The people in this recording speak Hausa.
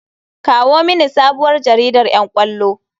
Kawo mini sabuwar jaridan ƴan ƙwallo.